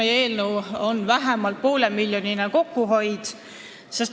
Ja miks on valitsussektori kulude kokkuhoid oluline?